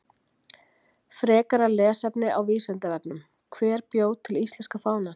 Frekara lesefni á Vísindavefnum: Hver bjó til íslenska fánann?